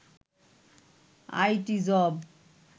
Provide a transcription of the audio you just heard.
IT job